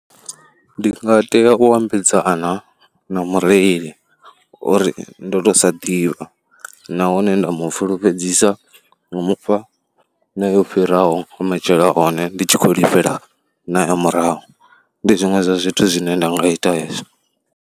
Ndi nga tea u ambedzana na mureli uri ndo tou sa ḓivha nahone nda mu fulufhedzisa nga u mu fha na yo fhiraho matshelo a hone ndi tshi khou lifhela na ya murahu. Ndi zwiṅwe zwa zwithu zwine nda nga ita hezwo.